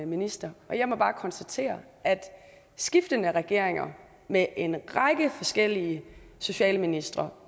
minister og jeg må bare konstatere at skiftende regeringer med en række forskellige socialministre